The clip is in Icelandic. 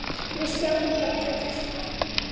Við sjáum hvað gerist.